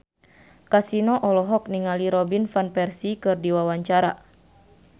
Kasino olohok ningali Robin Van Persie keur diwawancara